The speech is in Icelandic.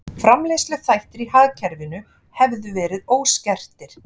Framleiðsluþættir í hagkerfinu hefðu verið óskertir